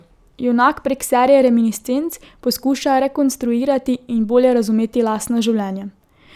Junak prek serije reminiscenc poskuša rekonstruirati in bolje razumeti lastno življenje.